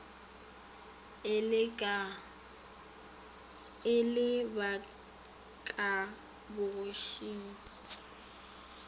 e le ba ka bogošing